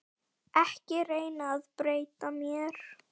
Ekki reyna að breyta mér.